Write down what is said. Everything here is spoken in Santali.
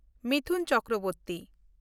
ᱢᱤᱛᱷᱩᱱ ᱪᱚᱠᱨᱚᱵᱚᱨᱛᱤ